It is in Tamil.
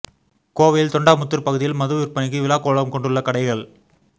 கோவையில் தொண்டாமுத்தூர் பகுதியில் மது விற்பனைக்கு விழா கோலம் கொண்டுள்ள கடைகள்